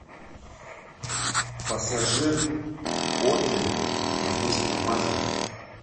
пассажир отмель воздушный маршал